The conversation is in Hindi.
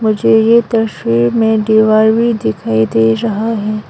मुझे ये तस्वीर में दीवार भी दिखाई दे रहा है।